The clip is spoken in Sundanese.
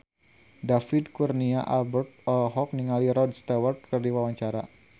David Kurnia Albert olohok ningali Rod Stewart keur diwawancara